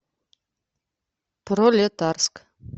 пролетарск